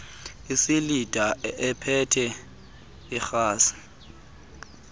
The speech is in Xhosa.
isilinda ephethe irhasi